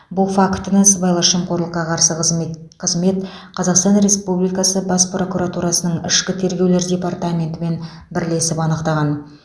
бұл фактіні сыбайлас жемқорлыққа қарсы қызмет қызмет қазақстан республикасы бас прокуратурасының ішкі тергеулер департаментімен бірлесіп анықтаған